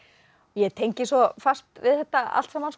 ég tengi svo fast við þetta allt saman